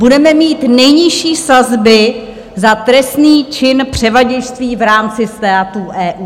"Budeme mít nejnižší sazby za trestný čin převaděčství v rámci států EU".